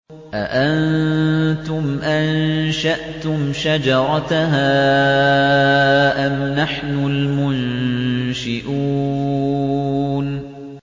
أَأَنتُمْ أَنشَأْتُمْ شَجَرَتَهَا أَمْ نَحْنُ الْمُنشِئُونَ